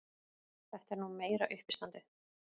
Þetta er nú meira uppistandið!